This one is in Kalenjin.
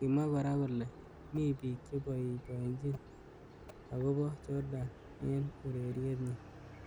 Kimwa kora kole mi bik cheboibojin akobo Jordan eng ureriet nyi.